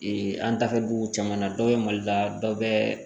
an dafɛ dugu caman na dɔ bɛ mali la dɔ bɛ